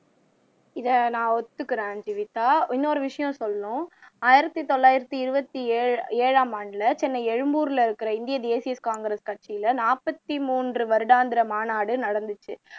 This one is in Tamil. இதை நான் ஒத்துக்கிறேன் ஜீவிதா இன்னொரு விஷயம் சொல்லணும் ஆயிரத்து தொள்ளயிரத்து இருபத்து ஏழாம் ஆண்டில சென்னை எழும்பூர்ல இருக்கிற இந்திய தேசிய காங்கிரஸ் கட்சில நாற்ப்பத்தி மூன்று வருடாந்திர மாநாடு நடந்துச்சு